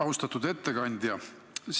Austatud ettekandja!